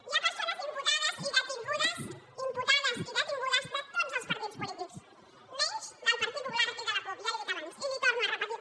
hi ha persones imputades i detingudes imputades i detingudes de tots els partits polítics menys del partit popular i de la cup ja li ho he dit abans i li ho torno a repetir